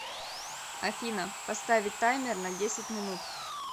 афина поставить таймер на десять минут